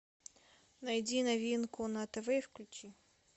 найди новинку на тв и включи